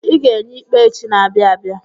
Ị ga-enye ikpe echi n'abia abịa.